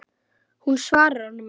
Hún svarar honum ekki.